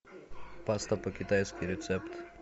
паста по китайски рецепт